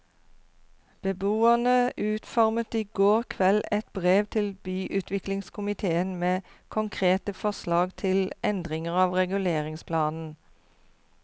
Beboerne utformet i går kveld et brev til byutviklingskomitéen med konkrete forslag til endringer av reguleringsplanen.